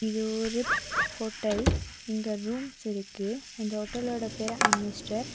இது ஒரு ப்போ ஹோட்டல் இங்க ரூம்ஸ் இருக்கு அந்த ஹோட்டலோட பேரு அமிஸ்டர்.